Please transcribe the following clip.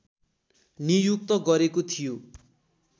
नियुक्त गरेको थियो